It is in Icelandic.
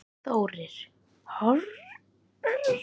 Þórir: Horfðir þú aftur á hann?